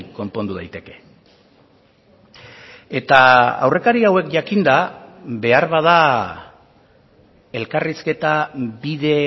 konpondu daiteke eta aurrekari hauek jakinda beharbada elkarrizketa bide